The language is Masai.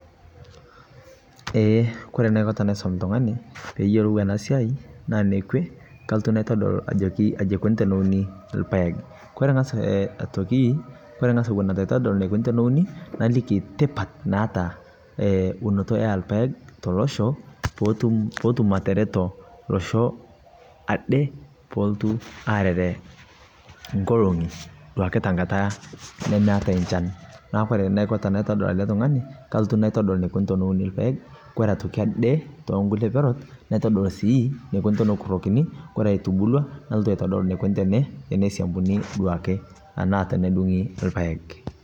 eee kore naiko tanaisom ltunganii peeyolou anaa siai naa nekwee kalotuu naitodol ajokii ajii eikonii tonounii lpaeg. kore ngas otokii etuu aitodol neikonii tonounii, nalikii tipat naata unotoo ee lpaeg te loshoo pootum ateretoo loshoo adee poolotu areree nkolongii duake tankataa nemeatai nchan. naaku kore naiko tanaitodol alee tunganii kalotu naitodol neikonii teneunii lpaeg kore otokii adee tonkulie perot naitodol sii neikunii tonokurokinii, koree etubulua nalotuu aitodol neikunii teneisiampunii duakee anaa tenedungii lpaeg